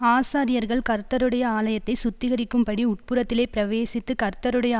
ஆசாரியர்கள் கர்த்தருடைய ஆலயத்தை சுத்திகரிக்கும்படி உட்புறத்திலே பிரவேசித்து கர்த்தருடைய